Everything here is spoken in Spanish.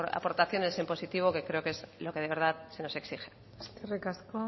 aportaciones en positivo que creo que es lo que de verdad se nos exige eskerrik asko